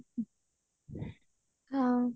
ହଁ